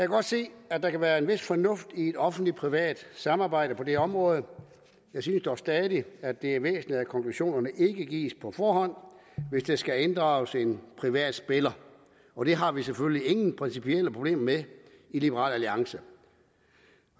godt se at der kan være en vis fornuft i et offentlig privat samarbejde på det her område jeg synes dog stadig at det er væsentligt at konklusionerne ikke gives på forhånd hvis der skal inddrages en privat spiller og det har vi selvfølgelig ingen principielle problemer med i liberal alliance